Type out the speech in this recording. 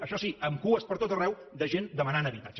això sí amb cues per tot arreu de gent demanant habitatge